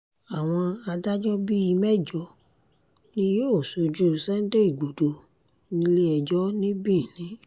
àwọn adájọ́ bíi mẹ́jọ ni yóò ṣojú sunday igbodò nílé-ẹjọ́ ní benin